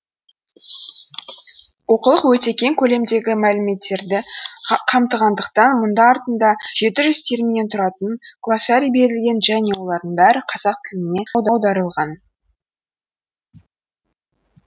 оқулық өте кең көлемдегі мәліметтерді қамтығандықтан мұнда артында жеті жүз терминнен тұратын глоссарий берілген және олардың бәрі қазақ тіліне аударылған